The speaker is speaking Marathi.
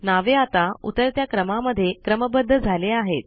नावे आता उतरत्या क्रमामध्ये क्रमबद्ध झाले आहेत